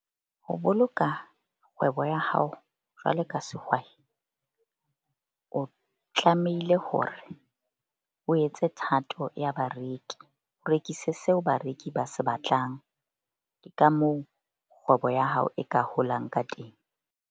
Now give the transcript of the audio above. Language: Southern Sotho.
Ho boloka kgwebo ya hao jwalo ka sehwai, o tlamehile hore o etse thato ya bareki. O rekise seo bareki ba se batlang. Ka moo kgwebo ya hao e ka holang ka teng.